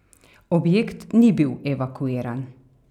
Objekt ni bil evakuiran.